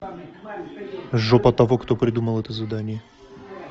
жопа тому кто придумал это задание